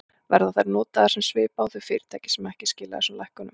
Verða þær notaðar sem svipa á þau fyrirtæki sem ekki skila þessum lækkunum?